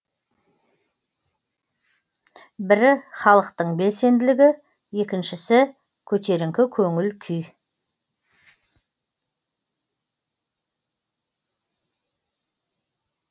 бірі халықтың белсенділігі екіншісі көтеріңкі көңіл күй